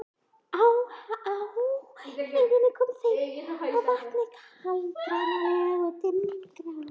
Á háheiðinni komu þeir að vatni, kaldranalegu og dimmgráu.